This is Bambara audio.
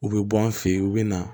U bɛ bɔ an fɛ yen u bɛ na